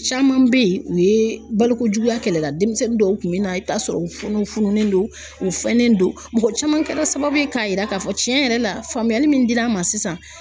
Caman bɛ yen u ye baloko juguya kɛlɛ la denmisɛnnin dɔw kun bɛ na i bɛ t'a sɔrɔ u kɔnɔ fununen don u fɛnen don, mɔgɔ caman kɛra sababu ye k'a yira k'a fɔ tiɲɛ yɛrɛ la faamuyali min dir'an ma sisan